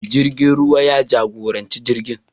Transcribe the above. Mai jirgin ruwa ya jagoranci jirgin.